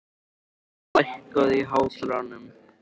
Páll, lækkaðu í hátalaranum.